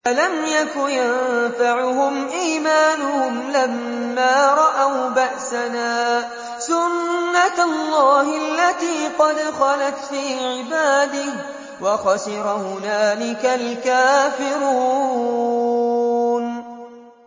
فَلَمْ يَكُ يَنفَعُهُمْ إِيمَانُهُمْ لَمَّا رَأَوْا بَأْسَنَا ۖ سُنَّتَ اللَّهِ الَّتِي قَدْ خَلَتْ فِي عِبَادِهِ ۖ وَخَسِرَ هُنَالِكَ الْكَافِرُونَ